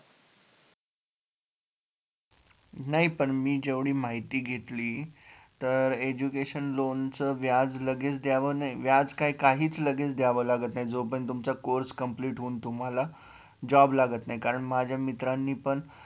नाही पण मी जेवढी माहिती घेतली तर education loan च व्याज लगेच द्यावं व्याज काय काहीच लगेच द्यावे लागत नाही जोपर्यंत तुमच course complete होऊन तुम्हाला job लागत नाही कारण माझ्या मित्रांनी पण